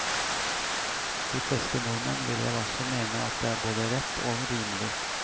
De fleste nordmenn vil vel også mene at det er både rett og rimelig.